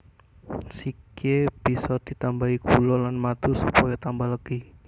Sikhye bisa ditambahi gula lan madu supaya tambah legi